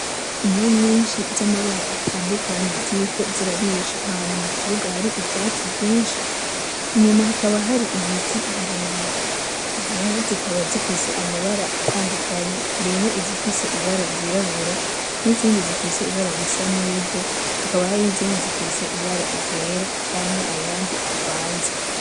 Inka nyinshi z’amabara atandukanye ziriko zirarisha ahantu mu kibuga hari ivyatsi vyinshi. Inyuma hakaba hari ibiti birebire. Izo nka zikaba zifise amabara atandukanye harimwo izifise ibara ry’irabura, n’izindi zifise ibara risa n’ivu, hakaba hari n’izindi zifise ibara ry’era canke ayandi avanze.